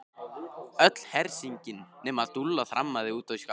Öll hersingin nema Dúlla þrammaði út í skafl.